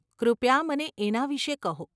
કૃપયા મને એના વિષે કહો.